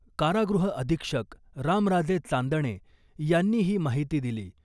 कारागृह अधीक्षक रामराजे चांदणे यांनी ही माहिती दिली .